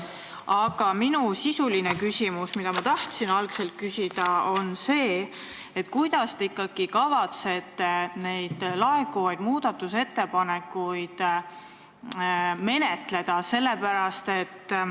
Aga minu sisuline küsimus, mida ma tahtsin küsida, on see: kuidas te ikkagi kavatsete neid laekuvaid muudatusettepanekuid menetleda?